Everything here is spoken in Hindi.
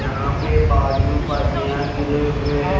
यहा पे बाजु परनिया गीरे हुए है।